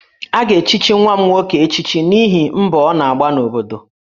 A ga-echichi nwa m nwoke echichi n'ihi mbọ ọ na-agba n'obodo